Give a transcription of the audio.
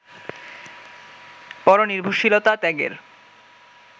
পরনির্ভরশীলতা ত্যাগের